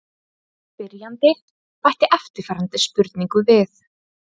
Spyrjandi bætti eftirfarandi spurningu við: